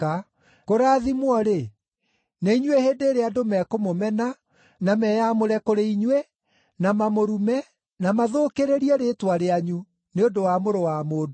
Kũrathimwo-rĩ, nĩ inyuĩ hĩndĩ ĩrĩa andũ mekũmũmena, na meyamũre kũrĩ inyuĩ, na mamũrume, na mathũkĩrĩrie rĩĩtwa rĩanyu, nĩ ũndũ wa Mũrũ wa Mũndũ.